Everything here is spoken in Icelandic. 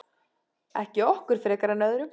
Ekki okkur frekar en öðrum.